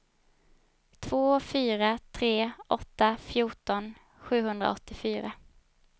två fyra tre åtta fjorton sjuhundraåttiofyra